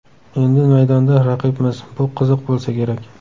Endi maydonda raqibmiz, bu qiziq bo‘lsa kerak”.